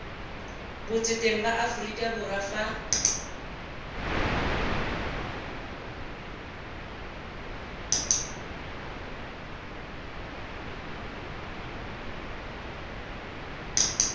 botseteng ba aforika borwa fa